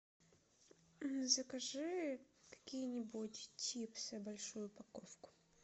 закажи какие нибудь чипсы большую упаковку